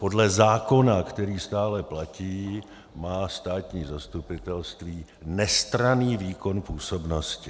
Podle zákona, který stále platí, má státní zastupitelství nestranný výkon působnosti.